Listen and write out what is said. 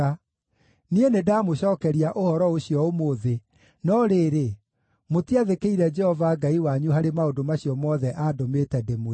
Niĩ nĩndamũcookeria ũhoro ũcio ũmũthĩ, no rĩrĩ, mũtiathĩkĩire Jehova Ngai wanyu harĩ maũndũ macio mothe aandũmĩte ndĩmwĩre.